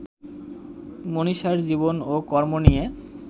মনীষার জীবন ও কর্ম নিয়ে